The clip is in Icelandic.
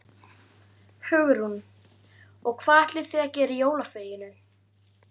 Hugrún: Og hvað ætlið þið að gera í jólafríinu?